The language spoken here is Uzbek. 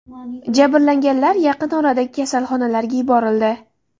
Jabrlanganlar yaqin oradagi kasalxonaga yuborildi.